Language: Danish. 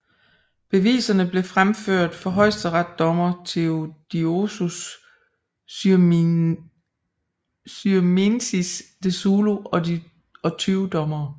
Beviserne blev fremført for højesteretsdommer Theodosious Syrmiensis de Szulo og 20 dommere